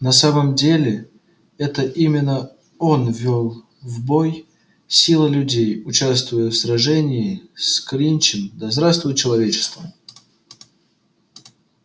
на самом деле это именно он вёл в бой силы людей участвуя в сражении с клинчем да здравствует человечество